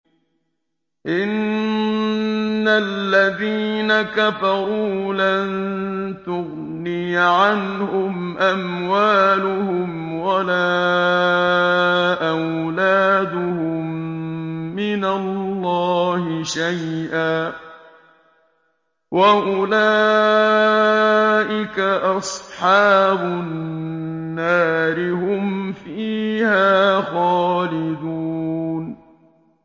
إِنَّ الَّذِينَ كَفَرُوا لَن تُغْنِيَ عَنْهُمْ أَمْوَالُهُمْ وَلَا أَوْلَادُهُم مِّنَ اللَّهِ شَيْئًا ۖ وَأُولَٰئِكَ أَصْحَابُ النَّارِ ۚ هُمْ فِيهَا خَالِدُونَ